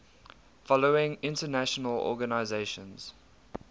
following international organizations